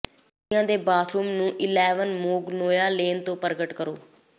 ਕੁੜੀ ਦੇ ਬਾਥਰੂਮ ਨੂੰ ਇਲੈਵਨ ਮੈਗਨੋਲਿਆ ਲੇਨ ਤੋਂ ਪ੍ਰਗਟ ਕਰੋ